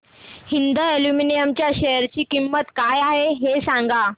Hind aluminium च्या share ची किंमत काय आहे हे सांगा